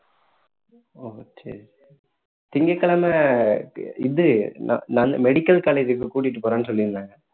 okay திங்கட்கிழமை இது ந~ medical college க்கு கூட்டிட்டு போறேன்னு சொல்லியிருந்தாங்க